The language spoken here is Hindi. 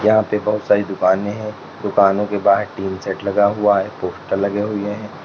यहां पे बहुत सारी दुकाने हैं दुकानों के बाहर टीन सेट लगा हुआ है पोस्टर लगे हुए हैं।